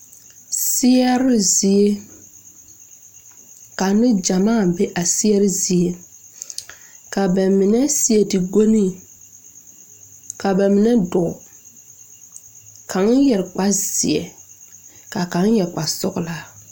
Seɛre zie ka ne gyamaa be a seɛre zie ka ba mine seɛ ti go ne ka ba mine dɔɔ kaŋ yɛre kparzeɛ kaa kaŋ yɛre kpasɔglaa.